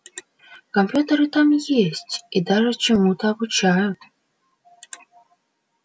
компьютеры там есть и даже чему-то обучают